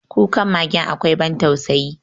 Kukan magen akwai ban tausayi.